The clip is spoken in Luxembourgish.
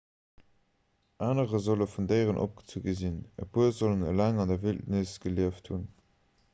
anerer solle vun déieren opgezu gi sinn e puer sollen eleng an der wildnis gelieft hunn